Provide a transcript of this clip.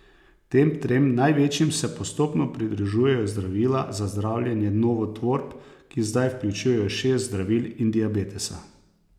Tem trem največjim se postopno pridružujejo zdravila za zdravljenje novotvorb, ki zdaj vključujejo šest zdravil, in diabetesa.